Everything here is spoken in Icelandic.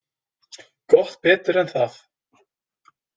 Gott betur en það.